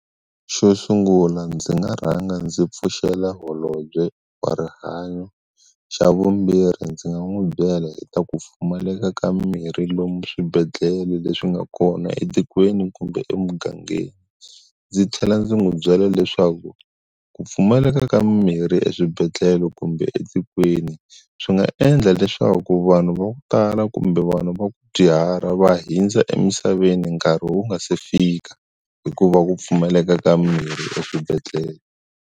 Xo sungula ndzi nga rhanga ndzi pfuxela holobye wa rihanyo xa vumbirhi ndzi nga n'wi byela hi ta ku pfumaleka ka mimirhi lomu swibedhlele leswi nga kona etikweni kumbe emugangeni ndzi tlhela ndzi n'wi byela leswaku ku pfumaleka ka mimirhi eswibedhlele kumbe etikweni swi nga endla leswaku vanhu va ku tala kumbe vanhu va ku dyuhala va hundza emisaveni nkarhi wu nga se fika hikuva ku pfumaleka ka mirhi eswibedhlele.